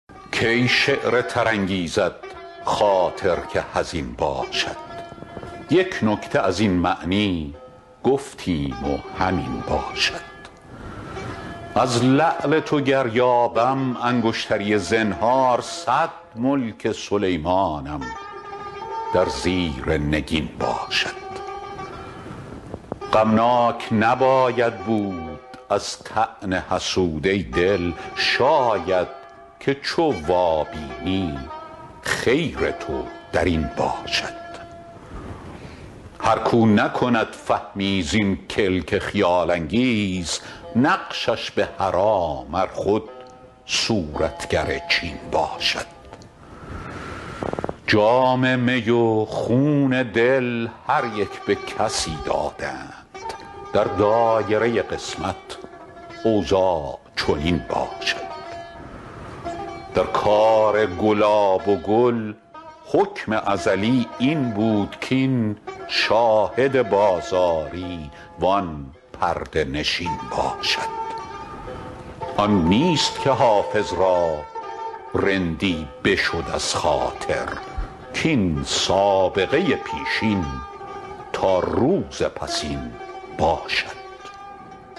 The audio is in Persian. کی شعر تر انگیزد خاطر که حزین باشد یک نکته از این معنی گفتیم و همین باشد از لعل تو گر یابم انگشتری زنهار صد ملک سلیمانم در زیر نگین باشد غمناک نباید بود از طعن حسود ای دل شاید که چو وابینی خیر تو در این باشد هر کاو نکند فهمی زین کلک خیال انگیز نقشش به حرام ار خود صورتگر چین باشد جام می و خون دل هر یک به کسی دادند در دایره قسمت اوضاع چنین باشد در کار گلاب و گل حکم ازلی این بود کاین شاهد بازاری وان پرده نشین باشد آن نیست که حافظ را رندی بشد از خاطر کاین سابقه پیشین تا روز پسین باشد